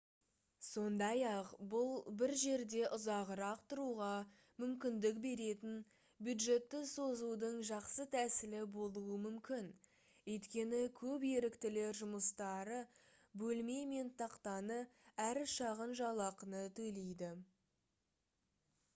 сондай-ақ бұл бір жерде ұзағырақ тұруға мүмкіндік беретін бюджетті созудың жақсы тәсілі болуы мүмкін өйткені көп еріктілер жұмыстары бөлме мен тақтаны әрі шағын жалақыны төлейді